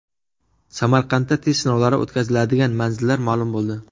Samarqandda test sinovlari o‘tkaziladigan manzillar ma’lum bo‘ldi.